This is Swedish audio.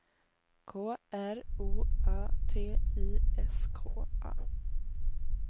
K R O A T I S K A